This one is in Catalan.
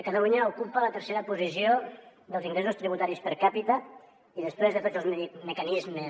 catalunya ocupa la tercera posició dels ingressos tributaris per capita i després de tots els mecanismes